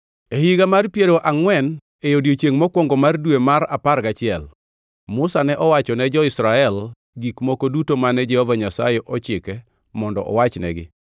E higa mar piero angʼwen e odiechiengʼ mokwongo mar dwe mar apar gachiel, Musa ne owacho ne jo-Israel gik moko duto mane Jehova Nyasaye ochike mondo owachnegi.